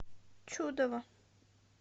чудово